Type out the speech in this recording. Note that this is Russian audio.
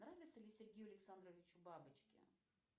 нравятся ли сергею александровичу бабочки